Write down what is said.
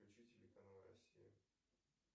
включи телеканал россия